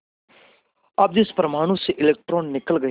अब जिस परमाणु से इलेक्ट्रॉन निकल गए